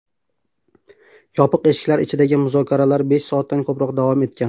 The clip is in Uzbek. Yopiq eshiklar ichidagi muzokaralar besh soatdan ko‘proq davom etgan.